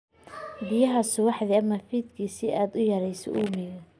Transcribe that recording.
Biyaha subaxdii ama fiidkii si aad u yarayso uumiga.